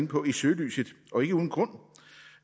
på i søgelyset og ikke uden grund